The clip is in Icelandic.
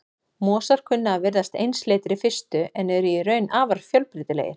Mosar kunna að virðast einsleitir í fyrstu en eru í raun afar fjölbreytilegir.